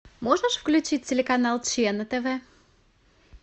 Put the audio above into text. можешь включить телеканал че на тв